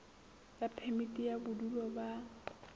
ya phemiti ya bodulo ba